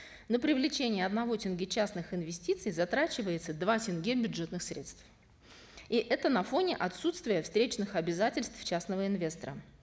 на привлечение одного тенге частных инвестиций затрачивается два тенге бюджетных средств и это на фоне отсутствия встречных обязательств частного инвестора